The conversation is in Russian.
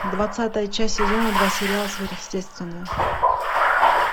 двадцатая часть сезона два сериала сверхъестественное